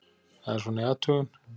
Það er svona í athugun.